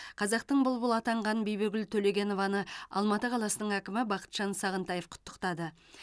қазақтың бұлбұлы атанған бибігүл төлегенованы алматы қаласының әкімі бақытжан сағынтаев құттықтады